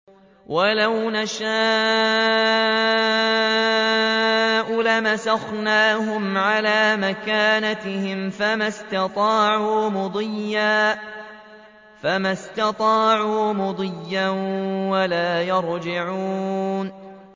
وَلَوْ نَشَاءُ لَمَسَخْنَاهُمْ عَلَىٰ مَكَانَتِهِمْ فَمَا اسْتَطَاعُوا مُضِيًّا وَلَا يَرْجِعُونَ